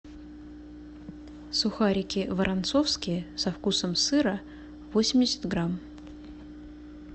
сухарики воронцовские со вкусом сыра восемьдесят грамм